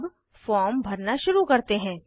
अब फॉर्म भरना शुरू करते हैं